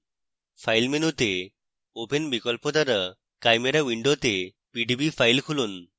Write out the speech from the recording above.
file মেনুতে open বিকল্প দ্বারা chimera window pdb file খুলুন